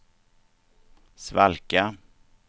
svalka